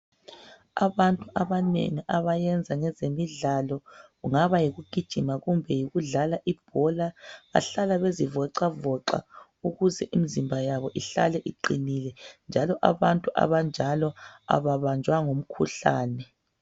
Abantu abanengi abayenza ngezemidlalo kungaba yikugijima kumbe yikudlala ibhola bahlala bezivoxavoxa ukuze imizimba yabo ihlale iqinile njalo abantu abanjalo ababanjwa ngumkhuhlane.